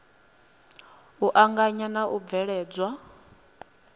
u anganya na u bveledzwa